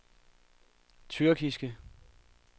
tyrkiske